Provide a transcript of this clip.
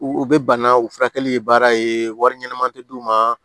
U u bɛ bana u furakɛli baara ye wari ɲɛnama tɛ d'u ma